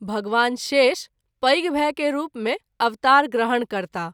भगवान शेष पैघ भाई के रूप मे अवतार ग्रहण करताह।